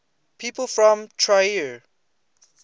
people from trier